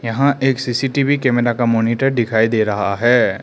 यहां एक CCTV camera का मॉनिटर दिखाई दे रहा है।